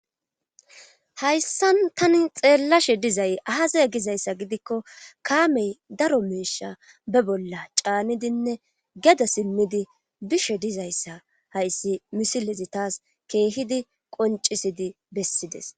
Hayssan tani xeellashe dizay ahaze gizayssa gidikko kaamey daro meesha be bolla caanidinne geda simmidi bishe dizayssa hayssi misilezi taas keehidi qoncisidi bessides